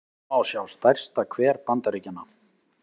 hér má sjá stærsta hver bandaríkjanna